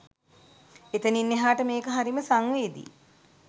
එතනින් එහාට මේක හරිම සංවේදී